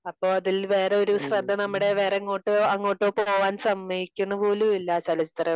അപ്പൊ അതിൽ വേറെ ഒരു ശ്രദ്ധ നമ്മുടെ വേറെ എങ്ങോട്ടോ അങ്ങോട്ടോ പോവാൻ സമ്മതിക്കുന്നു പോലും ഇല്ല ആ ചലച്ചിത്രം.